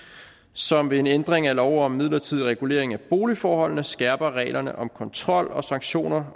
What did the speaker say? som ved en ændring af lov om midlertidig regulering af boligforholdene skærper reglerne om kontrol og sanktioner